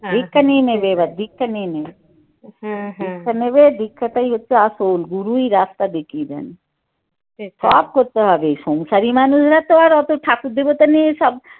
দীক্ষা নিয়ে নেবে এবার দীক্ষা নিয়ে নেবে দীক্ষা নেবে দীক্ষাটাই একটু আসল গুরুই রাস্তা দেখিয়ে দেন যপ করতে হবে এই সংসারি মানুষরা তো আর অত ঠাকুর দেবতা নিয়ে সব